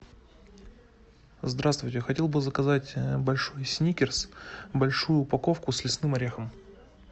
здравствуйте хотел бы заказать большой сникерс большую упаковку с лесным орехом